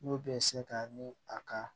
N'o bɛ se ka ni a ka